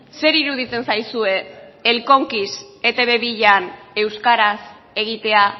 zer iruditzen zaizue el conquis etb bian euskaraz egitea